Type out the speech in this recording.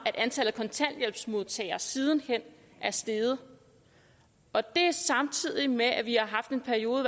at antallet af kontanthjælpsmodtagere siden hen er steget og det samtidig med at vi har haft en periode